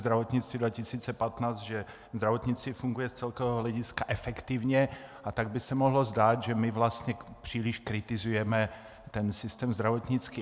Zdravotnictví 2015, že zdravotnictví funguje z celkového hlediska efektivně, a tak by se mohlo zdát, že my vlastně příliš kritizujeme ten systém zdravotnictví.